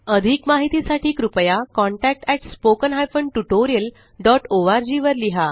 अधिक माहिती साठी कृपया contactspoken tutorialorg वर लिहा